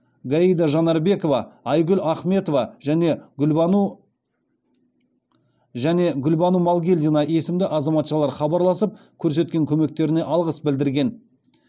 гайда жанарбекова айгүл ахметова және гүлбану малгелдина есімді азаматшалар хабарласып көрсеткен көмектеріне алғыс білдірген